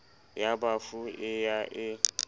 ya bafu e ya e